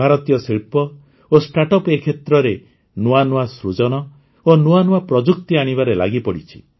ଭାରତୀୟ ଶିଳ୍ପ ଓ ଷ୍ଟାର୍ଟଅପ୍ ଏ କ୍ଷେତ୍ରରେ ନୂଆନୂଆ ସୃଜନ ଓ ନୂଆନୂଆ ପ୍ରଯୁକ୍ତି ଆଣିବାରେ ଲାଗିପଡ଼ିଛି